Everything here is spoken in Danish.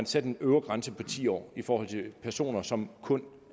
sætte en øvre grænse på ti år for personer som kun